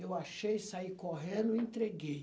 Eu achei, saí correndo e entreguei.